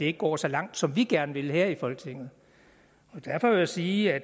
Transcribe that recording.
ikke går så langt som vi gerne vil her i folketinget derfor vil jeg sige at